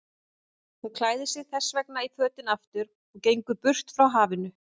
Hún klæðir sig þessvegna í fötin aftur og gengur burt frá hafinu.